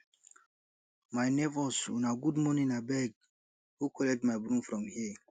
my nebors una good morning abeg who collect my broom from here